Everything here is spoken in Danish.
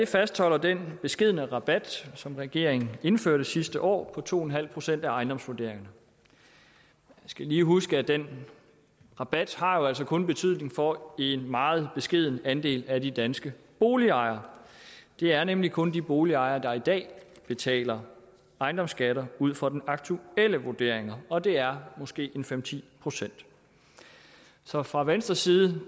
fastholder den beskedne rabat som regeringen indførte sidste år to en halv procent af ejendomsvurderingen vi skal lige huske at den rabat altså kun har betydning for en meget beskeden andel af de danske boligejere det er nemlig kun de boligejere der i dag betaler ejendomsskatter ud fra den aktuelle vurdering og det er måske fem ti procent så fra venstres side